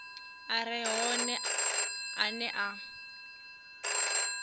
a re hone ane a